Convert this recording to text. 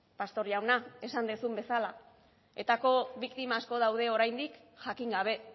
pastor jauna esan duzun bezala etako biktima asko daude oraindik jakin gabe